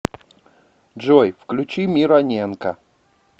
джой включи мироненко